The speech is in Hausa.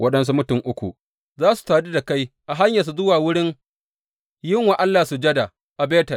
Waɗansu mutum uku za su sadu da kai a hanyarsu zuwa wurin yin wa Allah sujada a Betel.